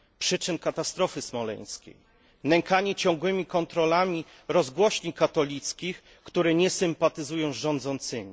przyczyn katastrofy smoleńskiej, nękanie ciągłymi kontrolami rozgłośni katolickich, które nie sympatyzują z rządzącymi.